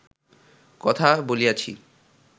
কথা বলিয়াছি